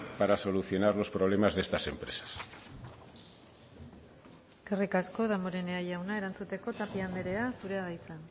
para solucionar los problemas de estas empresas eskerrik asko damborenea jauna erantzuteko tapia andrea zurea da hitza